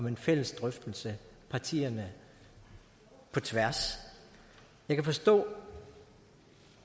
en fælles drøftelse partierne på tværs jeg kan forstå